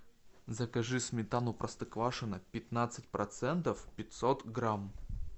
закажи сметану простоквашино пятнадцать процентов пятьсот грамм